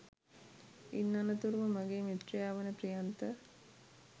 ඉන් අනතුරුව මගේ මිත්‍රයා වන ප්‍රියන්ත